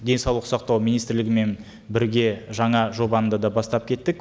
денсаулық сақтау министрлігімен бірге жаңа жобаны да бастап кеттік